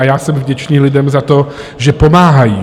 A já jsem vděčný lidem za to, že pomáhají.